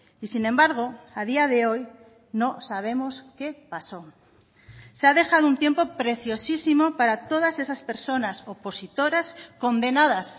y sin embargo a día de hoy no sabemos qué pasó se ha dejado un tiempo preciosísimo para todas esas personas opositoras condenadas